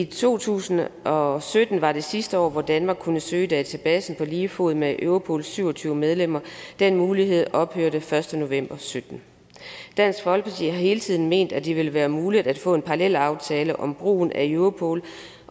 to tusind og sytten var det sidste år hvor danmark kunne søge i databasen på lige fod med europols syv og tyve medlemmer den mulighed ophørte den første november og sytten dansk folkeparti har hele tiden ment at det ville være muligt at få en parallelaftale om brugen af europol